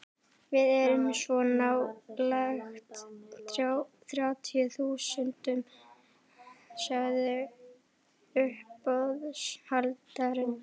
Við erum svo nálægt þrjátíu þúsundunum, sagði uppboðshaldarinn.